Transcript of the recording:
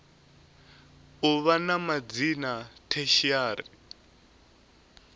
u vha na madzina tertiary